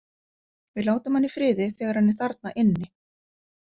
Við látum hann í friði þegar hann er þarna inni.